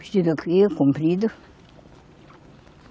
Vestido aqui, comprido.